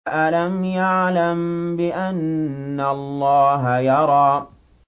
أَلَمْ يَعْلَم بِأَنَّ اللَّهَ يَرَىٰ